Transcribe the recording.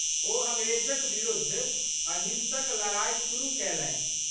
ओ अंग्रेजक बिरुद्ध अहिंसक लड़ाइ शुरु कैलनि।